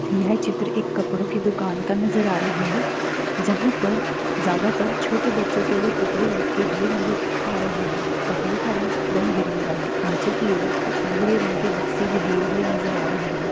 यह चित्र एक कपड़ो की दुकान का नजर आ रहा है जहां पर ज्यादातर छोटे बच्चों के लिए कपड़े लटके हुए नजर आ रहे हैं कपड़ों का रंग रंग-बिरंगा है नीचे की ओर कुछ भूरे रंग के बक्से भी दिए हुए नजर आ रहे हैं।